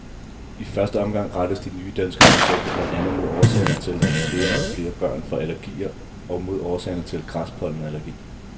I første omgang rettes de nye danske projekter blandt andet mod årsagerne til, at flere og flere børn får allergier og mod årsagerne til græspollenallergi.